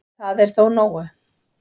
Það er þó nógu